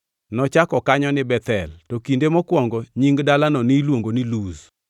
Nochako kanyo ni Bethel to kinde mokwongo nying dalano niluongo ni Luz.